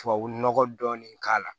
Tubabu nɔgɔ dɔɔnin k'a la